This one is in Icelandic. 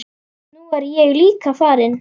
Nú er ég líka farinn.